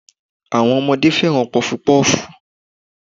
Àwọn ọmọdé fẹ́ràn Pọfupọ́ọ̀fù.